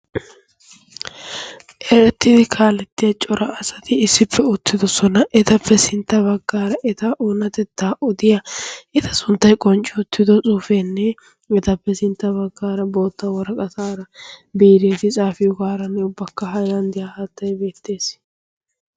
erettidi kaalettiya cora asati issippe ottidosona. etappe sintta baggaara eta oonatettaa odiya eta sunttai qoncci uttido xuufeenne etappe sintta baggaara bootta waraqataara biireeti xaafiyo gaaranne ubbakka hailanddiyaara hattai beettees.